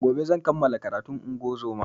Gobe zan kamala karatun ingozuma